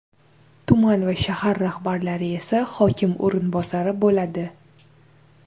tuman va shahar rahbarlari esa hokim o‘rinbosari bo‘ladi.